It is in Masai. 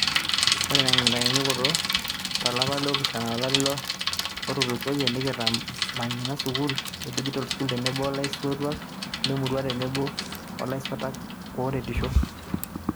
oree te nkitanyanyukoto, to lapa le opishana lolari otulusoyia, nekitamanyunyia skull e Digischool tenebo olaisotuak lemurua oo tenebo laisotuak ooretisho.